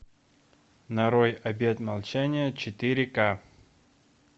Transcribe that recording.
нарой обет молчания четыре к